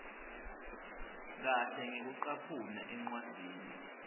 kahle ngekucaphuna encwadzini